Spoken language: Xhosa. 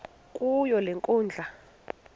kuyo le nkundla